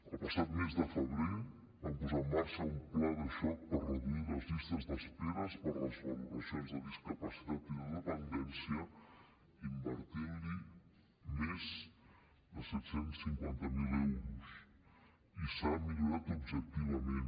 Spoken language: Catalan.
el passat mes de febrer vam posar en marxa un pla de xoc per reduir les llistes d’espera per les valoracions de discapacitat i de dependència invertint hi més de set cents i cinquanta miler euros i s’ha millorat objectivament